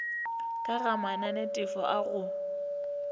ka ga mananetefo a go